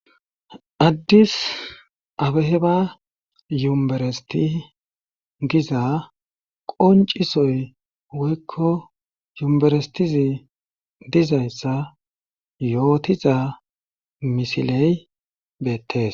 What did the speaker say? addisabeheba yumberesti giza qoncisoy woykko yumberestizi dizayssa yootiza misiley beettes.